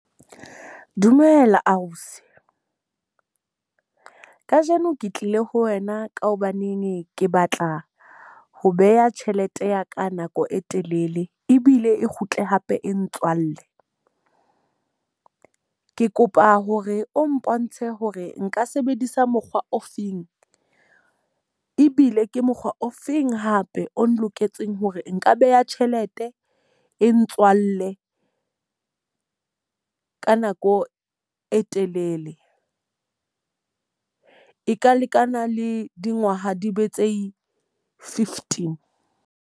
Dumela ausi, ka jeno ke tlile ho wena ka hobaneng ke batla ho beha tjhelete ya ka nako e telele, ebile e kgutle hape e ntswalle. Ke kopa hore o mpontshe hore nka sebedisa mokgwa o feng, ebile ke mokgwa o feng hape o loketseng hore nka beha tjhelete e ntse ntswalle ka nako e telele?, E ka lekana le dingwaha di be tse fifty.